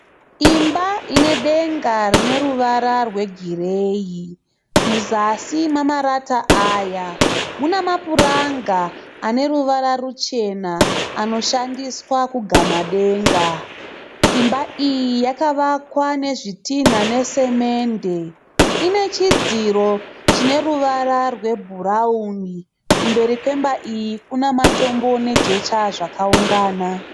Imba inedenga rine ruvara rwegireyi muzasi memarata aya mune mapuranga ane ruvara ruchena anoshandiswa kugama denga. Imba iyi yakavakwa nezvitinha nesemende, ine chidziro chine ruvara rwebhurauni, kumberi kwemba iyi kune matombo nejecha zvakaungana.